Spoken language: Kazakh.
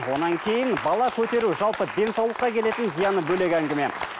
одан кейін бала көтеру жалпы денсаулыққа келетін зияны бөлек әңгіме